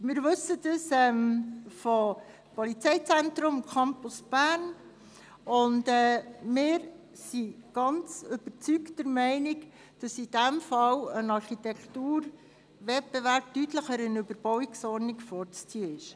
Das wissen wir vom Polizeizentrum und vom Campus Bern, und wir sind mit Überzeugung der Meinung, dass in diesem Fall ein Architekturwettbewerb einer Überbauungsordnung deutlich vorzuziehen ist.